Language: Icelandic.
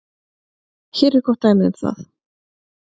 Hér er gott dæmi um það.